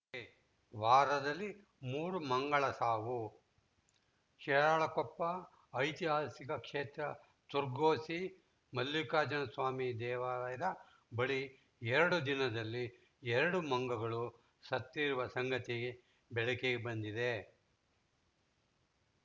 ಕೆವಾರದಲ್ಲಿ ಮೂರು ಮಂಗಳ ಸಾವು ಶಿರಾಳಕೊಪ್ಪ ಐತಿಹಾಸಿಕ ಕ್ಷೇತ್ರ ತೊಗರ್ಸಿ ಮಲ್ಲಿಕಾರ್ಜುನ ಸ್ವಾಮಿ ದೇವಾಲಯದ ಬಳಿ ಎರಡು ದಿನದಲ್ಲಿ ಎರಡು ಮಂಗಗಳು ಸತ್ತಿರುವ ಸಂಗತಿ ಬೆಳಕಿಗೆ ಬಂದಿದೆ